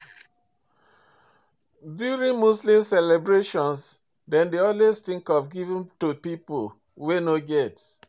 During Muslim celebration dem dey always think of giving to pipo wey no get